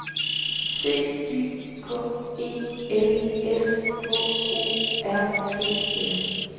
C Y K E L S H O R T S